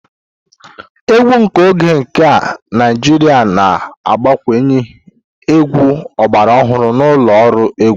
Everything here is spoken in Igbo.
Egwu nke oge nke a Naijiria na-agbakwunye egwu ọgbara ọhụrụ na ụlọ ọrụ egwu.